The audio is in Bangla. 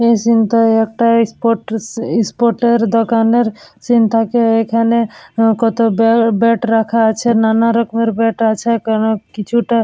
এই সীন টায় একটা এস্পোর্ট এস্পোর্ট এর দোকানের সীন থাকে এখানে কত ব্যাট ব্যাট রাখা আছে নানারকমের ব্যাট আছে কারন কিছুটা।